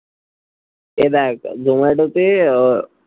এই দেখ জোম্যাটো তে আহ